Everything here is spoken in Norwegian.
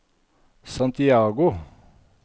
Santiago